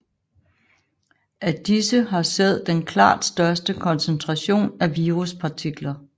Af disse har sæd den klart største koncentration af viruspartikler